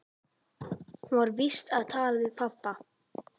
Hún var víst að tala við pabba.